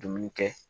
Dumuni kɛ